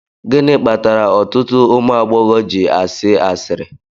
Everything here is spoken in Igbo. Gịnị kpatara ọtụtụ ụmụ agbọghọ ji asị asịrị